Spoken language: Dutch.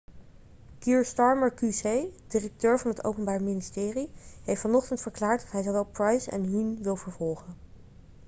kier starmer qc directeur van het openbaar ministerie heeft vanochtend verklaard dat hij zowel pryce en huhne wil vervolgen